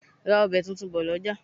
Ra ọbẹ tuntun bò lọjà!